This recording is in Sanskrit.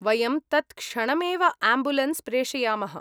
वयं तत्क्षणमेव आम्बुलेन्स् प्रेषयामः।